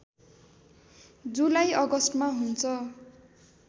जुलाई अगस्टमा हुन्छ